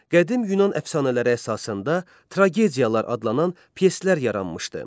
Qədim Yunan əfsanələri əsasında tragediyalar adlanan pyeslər yaranmışdı.